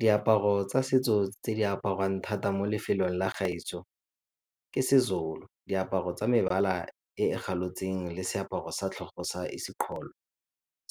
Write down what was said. Diaparo tsa setso tse di apariwang thata mo lefelong la gaetsho ke seZulu, diaparo tsa mebala e e galotseng le seaparo sa tlhogo sa ,